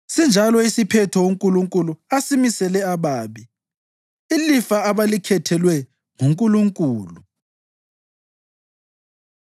Sinjalo isiphetho uNkulunkulu asimisele ababi, ilifa abalikhethelwe nguNkulunkulu.”